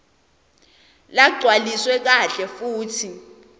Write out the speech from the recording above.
lagcwaliswe kahle futsi